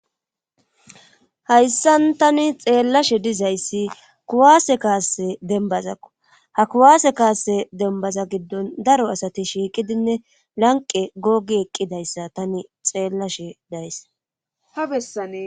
hayssan tani xeellashe dizayssi kuwaase kaasse dembazakko ha kuwaase kaase dembaza giddon daro asati shiiqidinne lanqe googi eqqidayssa tani xeellashe dayssa